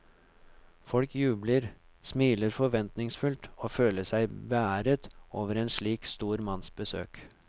Folk jubler, smiler forventningsfullt og føler seg beæret over en slik stor manns besøk.